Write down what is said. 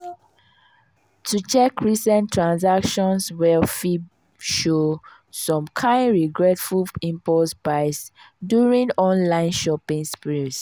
to check recent transactions well fit show some kain regretful impulse buys during online shopping sprees.